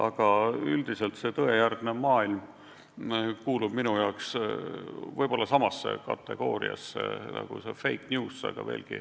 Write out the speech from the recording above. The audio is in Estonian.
Aga üldiselt see tõejärgne maailm kuulub minu jaoks samasse kategooriasse nagu fake news.